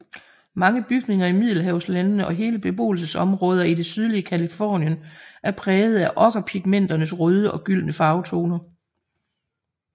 Mange bygninger i Middelhavslandene og hele beboelsesområder i det sydlige Californien er prægede af okkerpigmenternes røde og gyldne farvetoner